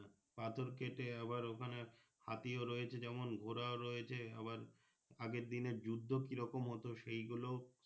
পাথর কেটে আবার ওখানে হাতিও রয়েছে যেমন ঘোড়াও রয়েছে আবার আগের দিনের যুদ্ধ কি রকম হতো সেই গুলো।